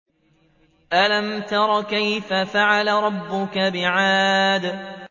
أَلَمْ تَرَ كَيْفَ فَعَلَ رَبُّكَ بِعَادٍ